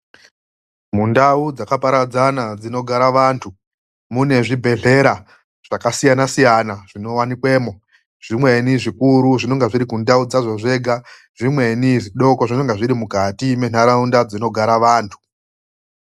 MUNDAU DZAKAPARADZANA DZINOGARA VANTU MUNE ZVIBHELERA ZVAKASIYANA - SIYANA ZVINOWANI KWEMWO ,ZVIMWENI ZVIKURU ZVINONGA ZVIRI KUNDAU KWAZVO ZVEGA ZVIMWENI ZVIDOKO ZVINENGE ZVIRI MUNDAU INOGARA VANTU .